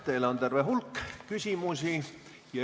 Teile on terve hulk küsimusi.